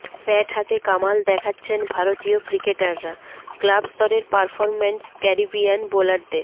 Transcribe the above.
bat হাতে কামাল দেখাচ্ছেন ভারতীয় ক্রিকেটাররা ক্লাবস্তরের পারফরম্যান্স ক্যারিবিয়ান বোলারদের